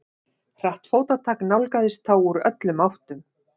Hratt fótatak nálgaðist þá úr öllum áttum.